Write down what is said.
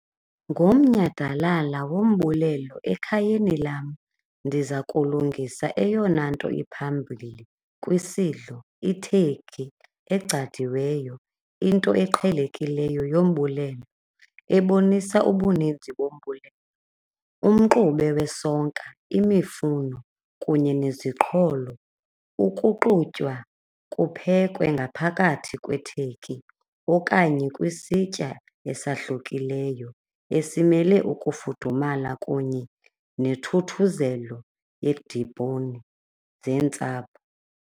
Ngomnyhadalala wombulelo ekhayeni lam ndiza kulungisa eyona nto iphambili kwisidlo, i-turkey egcadiweyo, into eqhelekileyo yombulelo ebonisa ubuninzi bombulelo. Umxube wesonka, imifuno kunye neziqholo, ukuxutywa kuphekwe ngaphakathi kwe-turkey okanye kwisitya esahlukileyo esimele ukufudumala kunye nethuthuzelo yedibhowuni zeentsapho.